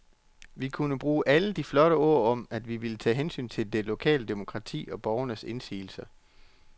Vi kunne bruge alle de flotte ord om, at vi ville tage hensyn til det lokale demokrati og borgernes indsigelser.